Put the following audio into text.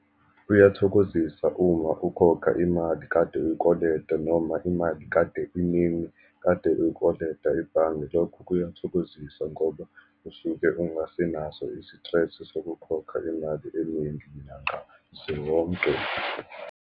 Kuyathokozisa uma ukhokha imali kade uyikoleta, noma imali kade iningi kade uyikoleta ebhange. Lokhu kuyathokozisa ngoba usuke ungasenazo isitresi sokukhokha imali eningi nyanga zonke.